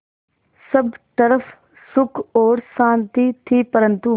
सब तरफ़ सुख और शांति थी परन्तु